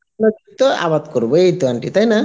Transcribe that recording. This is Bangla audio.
আবাদ করব, এইত aunty তাই না?